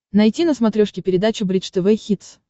найти на смотрешке передачу бридж тв хитс